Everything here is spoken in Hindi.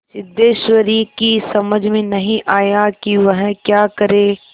सिद्धेश्वरी की समझ में नहीं आया कि वह क्या करे